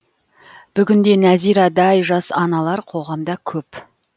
бүгін де нәзирадай жас аналар қоғамда көп